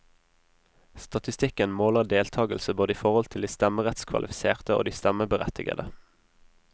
Statistikken måler deltagelse både i forhold til de stemmerettskvalifiserte og de stemmeberettigede.